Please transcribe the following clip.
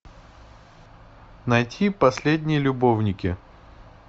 найти последние любовники